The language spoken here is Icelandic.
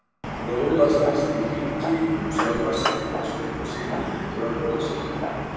Róla snýst í hringi um sjálfa sig einsog einhver sé nýhættur að róla sér.